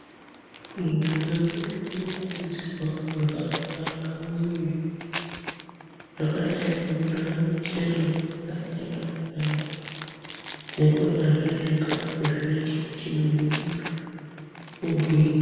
Muntu ngemuntu unokurudzirwa kurya kudakamwiri zvakadai ngekurya muchero yakasiyana siyana nekuryazve zvikafu zvinoite kuti muiri wemuntu ugwinye